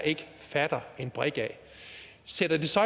ikke fatter en brik af sætter det så